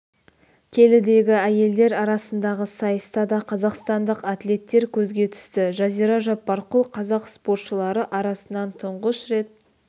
келідегі әйелдер арасындағы сайыста да қазақстандық атлеттер көзге түсті жазира жаппарқұл қазақ спортшылары арасынан тұңғыш рет